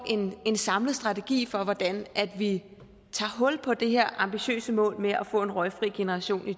en samlet strategi for hvordan vi tager hul på det her ambitiøse mål med at få en røgfri generation i